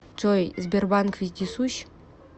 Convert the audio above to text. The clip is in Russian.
джой сбербанк вездесущ